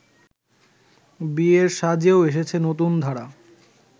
বিয়ের সাজেও এসেছে নতুনধারা